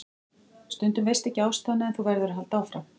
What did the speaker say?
Stundum veistu ekki ástæðuna en þú verður að halda áfram.